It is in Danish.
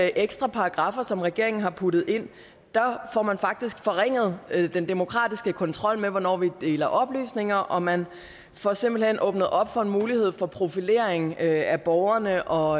ekstra paragraffer som regeringen har puttet ind får man faktisk forringet den demokratiske kontrol med hvornår vi deler oplysninger og man får simpelt hen åbnet op for en mulighed for profilering af borgerne og